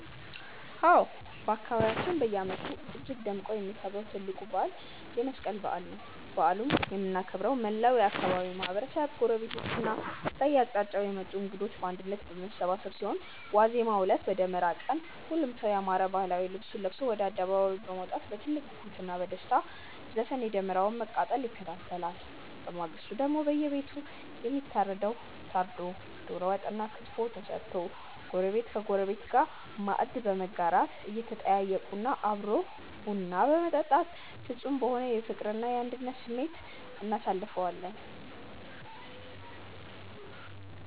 አዎ፣ በአካባቢያችን በየዓመቱ እጅግ ደምቆ የሚከበረው ትልቁ በዓል የመስቀል በዓል ነው። በዓሉን የምናከብረው መላው የአካባቢው ማህበረሰብ፣ ጎረቤቶችና ከየአቅጣጫው የመጡ እንግዶች በአንድነት በመሰባሰብ ሲሆን፣ ዋዜማው ዕለት (በደመራ ቀን) ሁሉም ሰው ያማረ ባህላዊ ልብሱን ለብሶ ወደ አደባባይ በመውጣት በትልቅ ጉጉትና በደስታ ዘፈን የደመራውን መቃጠል ይከታተላል። በማግስቱ ደግሞ በየቤቱ የሚታረደው ታርዶ፣ የደሮ ወጥና ክትፎ ተሰርቶ ጎረቤት ከጎረቤት ጋር ማዕድ በመጋራት፣ እየተጠያየቁና አብሮ ቡና በመጠጣት ፍጹም በሆነ የፍቅርና የአንድነት ስሜት እናሳልፈዋለን።